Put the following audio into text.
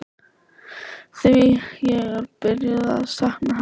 Því ég er byrjuð að sakna Helga.